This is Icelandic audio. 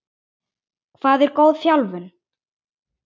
Hvað er góð þjálfun?